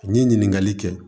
N ye ɲininkali kɛ